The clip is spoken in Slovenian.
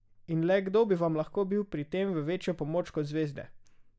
In le kdo bi vam lahko bil pri tem v večjo pomoč kot zvezde?